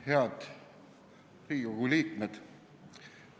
Head Riigikogu liikmed!